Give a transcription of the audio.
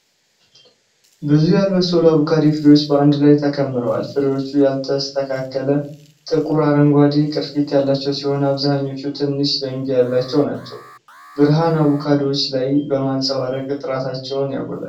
ብዙ ያልበሰሉ አቮካዶ ፍሬዎች በአንድ ላይ ተከምረዋል። ፍሬዎቹ ያልተስተካከለ፣ ጥቁር አረንጓዴ ቅርፊት ያላቸው ሲሆን፣ አብዛኛዎቹ ትንሽ ዘንግ ያላቸው ናቸው። ብርሃን አቮካዶዎቹ ላይ በማንጸባረቅ ጥራታቸውን ያጎላል።